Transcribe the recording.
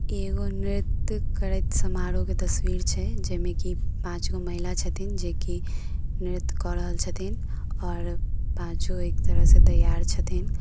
ई एगो नृत्य करैत समारोह के तस्वीर छै। जेमे की पाँच गो महिला छथीन । जे की नृत्य क रहल छथिन और अ पांचों एक तरह से तैयार छथीन।